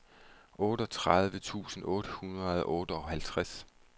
otteogtredive tusind otte hundrede og otteoghalvtreds